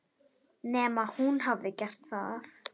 Nema hún hafi gert það.